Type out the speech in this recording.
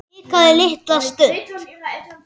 Hikaði litla stund.